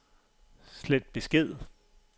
slet besked